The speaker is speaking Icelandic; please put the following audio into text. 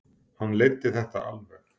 Hann leiddi þetta alveg.